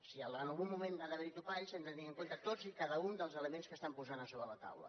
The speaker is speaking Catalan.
si en el algun moment ha d’haver hi topalls hem de tenir en compte tots i cada un dels elements que estan posant sobre la taula